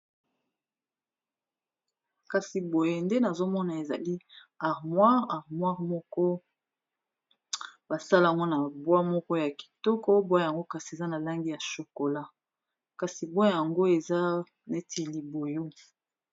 Kasi boye nde nazomona ezali armoir armoire moko basalango na bwa moko ya kitoko bwa yango kasi eza na langi ya shokola kasi bwa yango eza neti liboyo.